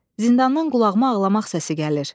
Zindandan qulağıma ağlamaq səsi gəlir.